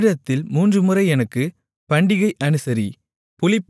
வருடத்தில் மூன்றுமுறை எனக்குப் பண்டிகை அனுசரி